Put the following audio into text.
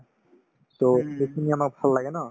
so, সেইখিনি আমাৰ ভাল লাগে ন